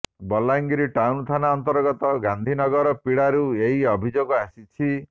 Balangir town ଥାନା ଅନ୍ତର୍ଗତ ଗାନ୍ଧୀ ନଗର ପଡ଼ାରୁ ଏହି ଅଭିଯୋଗ ଆସିଛି